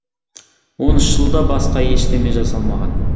он үш жылда басқа ештеме жасалмаған